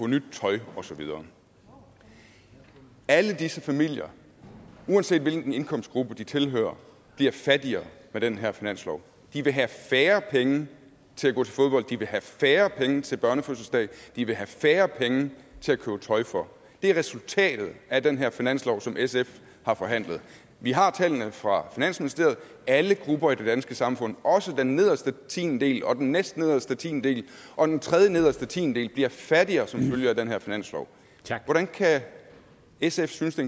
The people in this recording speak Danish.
nyt tøj og så videre alle disse familier uanset hvilken indkomstgruppe de tilhører bliver fattigere med den her finanslov de vil have færre penge til at gå til fodbold de vil have færre penge til børnefødselsdage de vil have færre penge til at købe tøj for det er resultat af den her finanslov som sf har forhandlet vi har tallene fra finansministeriet alle grupper i det danske samfund også den nederste tiendedel og den næstnederste tiendedel og den tredjenederste tiendedel bliver fattigere som følge af den her finanslov hvordan kan sf synes det